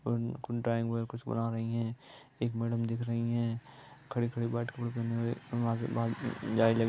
कुछ ड्राइंग बन रही है एक मैडम दिख रही है। खड़ी-खड़ी बात कर देने वाले--